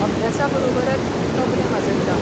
अभ्यासा बरोबरच तबलें वाजयता.